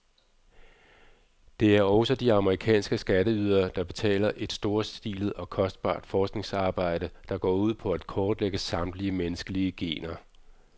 Det er også de amerikanske skatteydere, der betaler et storstilet og kostbart forskningsarbejde, der går ud på at kortlægge samtlige menneskelige gener.